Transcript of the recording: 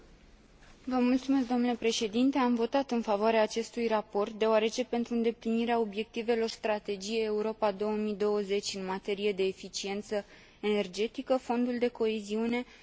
Am votat în favoarea acestui raport, deoarece, pentru îndeplinirea obiectivelor Strategiei Europa 2020 în materie de eficiență energetică, Fondul de coeziune va avea un rol foarte important.